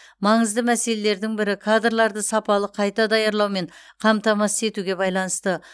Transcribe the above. маңызды мәселелердің бірі кадрларды сапалы қайта даярлаумен қамтамасыз етуге байланысты